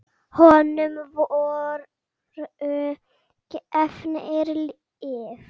Honum voru gefin lyf.